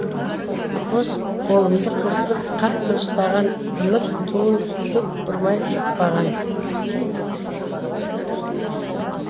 қос қолымды қысып қатты ұстаған үміт туын күдік ұрмай жықпаған